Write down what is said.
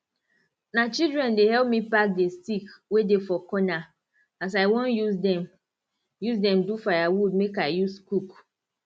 na children dey help me pack the stick wey dey for corner as i won use dem use dem do firewood make i use cook